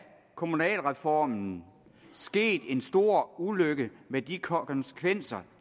kommunalreformen sket en stor ulykke med de konsekvenser